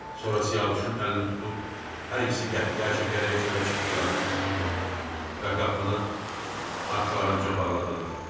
Sonra Siyavuşun əlini tutub hər ikisi qəhqəhə çəkərək çölə çıxdılar və qapını arxalarınca bağladılar.